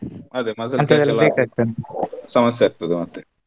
ಅದೆ muscle catch ಸಮಸ್ಸೆ ಆಗ್ತದ ಮತ್ತೆ.